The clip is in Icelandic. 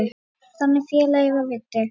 Þannig félagi var Viddi.